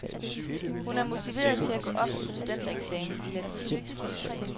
Hun er motiveret til at gå op til studentereksamen i latin.